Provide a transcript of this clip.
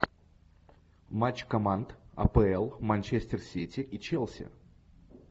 матч команд апл манчестер сити и челси